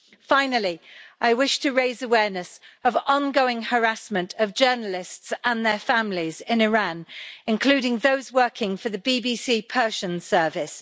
Finally, I wish to raise awareness of the ongoing harassment of journalists and their families in Iran, including those working for the BBC Persian Service.